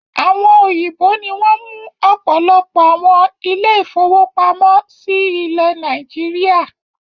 Àwọn òyìnbó ní wọn mú ọpọlọpọ àwọn ile-ìfowópamó sí ilé Nàìjíríà